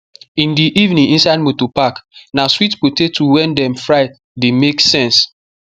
in the evening inside moto park na sweet potato wey dem fry the make sense